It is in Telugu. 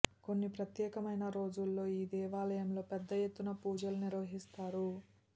కొన్ని ప్రత్యేకమైన రోజులలో ఈ దేవాలయంలో పెద్ద ఎత్తున పూజలు నిర్వహిస్తారు